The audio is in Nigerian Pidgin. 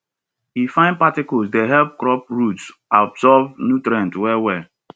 e fine particles dey help crop roots absorb nutrient well well